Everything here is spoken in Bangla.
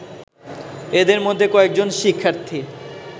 এদের মধ্যে কয়েকজন শিক্ষার্থী